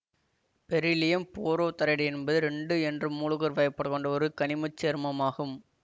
beryllium borohydride என்பது ரெண்டு என்று மூலுக்குர் பயபடுண்ட ஒரு கனிமச் சேர்மமாகும்